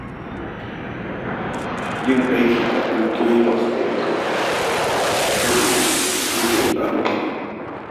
Yin aiki da ƙungiyoyi masu zaman kansu a koyaushe cike yake da ƙalubale.